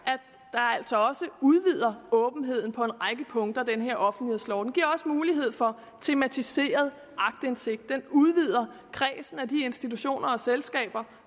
altså også udvider åbenheden på en række punkter med den offentlighedslov den giver også mulighed for tematiseret aktindsigt den udvider kredsen af de institutioner og selskaber